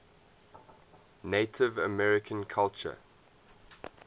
native american culture